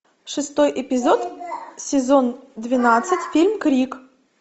шестой эпизод сезон двенадцать фильм крик